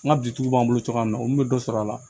N ka bitigiw b'an bolo cogoya min na olu bɛ dɔ sɔrɔ a la